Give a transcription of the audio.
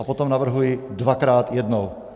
A potom navrhuji dvakrát, jednou.